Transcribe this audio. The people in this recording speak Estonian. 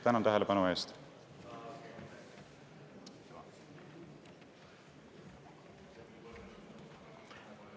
Tänan tähelepanu eest!